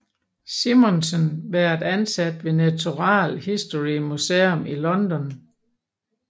Simonsen været ansat ved Natural History Museum i London